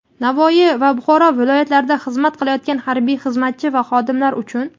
Navoiy va Buxoro viloyatlarida xizmat qilayotgan harbiy xizmatchi va xodimlar uchun.